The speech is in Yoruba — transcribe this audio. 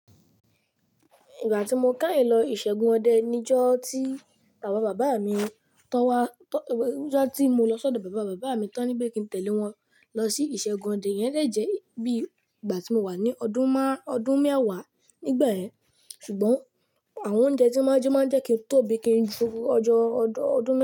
Ìgbà tí mo káhìn lọ ìṣẹ́gun ọdẹ níjọ́ tí bàbá bàbá mi tọ́ wá, níjọ́ tí mo lọ ṣ'ọdọ bàbá bàbá mi tán níbè kí n tẹ̀lé wọn lọ sí ìṣẹ́gun ọdẹ, yẹn dẹ̀ jẹ́ bí ìgbà tí mo wà ní ọdún má-- ọdún mẹ́wàá nígbẹ̀yẹn. Ṣùgbọ́n àwọn oúnjẹ tí máa ń jẹ máa ń jẹ́ kí n tóbi kí n ju ọjọ́- ọjọ́ ọdún mẹ́